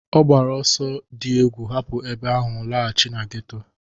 Ọ gbara ọsọ di egwu hapu ebe ahụ laghachi na geto.